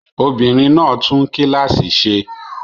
Obìnrin náà tún kíláàsì ṣe.